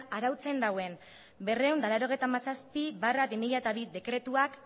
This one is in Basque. arautzen dauen berrehun eta laurogeita hamazazpi barra bi mila bi dekretuak